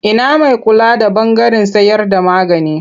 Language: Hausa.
Ina mai kula da ɓangaren sayarda magani?